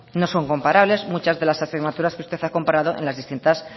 no son comparables muchas de las asignaturas que usted ha comparado en las distintas